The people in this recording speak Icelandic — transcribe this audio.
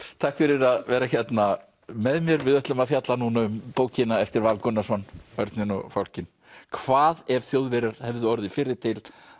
takk fyrir að vera hérna með mér við ætlum að fjalla núna um bókina eftir Val Gunnarsson Örninn og fálkinn hvað ef Þjóðverjar hefðu orðið fyrri til